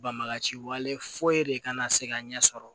Banbagaci wale foyi de kana se ka ɲɛ sɔrɔ